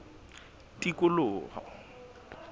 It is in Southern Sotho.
tikoloho